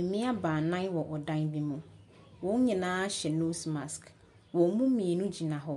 Mmea baanan wɔ ɔdan bi mu. Wn nyinaa hyɛ nose mask. Wɔn mu mmienu gyina hɔ,